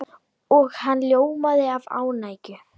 Og hann ljómaði af ánægju.